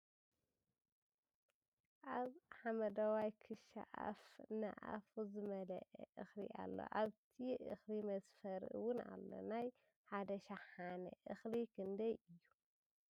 ኣብ ሓመደዋይ ክሻ ኣፍ ን ኣፉ ዝመለኣ እክሊ ኣሎ ኣብቲ እክሊ መስፈሪ እውን ኣሎ ። ናይ ሓደ ሽሃነ እክሊ ክንደይ እዩ ?